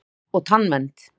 FLÚOR OG TANNVERND